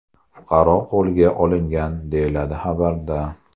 Fuqaro qo‘lga olingan”, deyiladi xabarda.